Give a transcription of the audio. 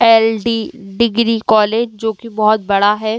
LD. Degree college जोकि बोहोत बड़ा है।